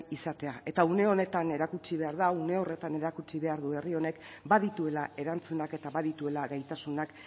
izatea eta une honetan erakutsi behar da eta une horretan erakutsi behar du herri honek badituela erantzunak eta badituela gaitasunak